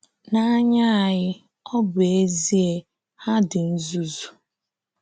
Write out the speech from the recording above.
N’anya anyị, ọ bụ ezie, ha dị nzuzu.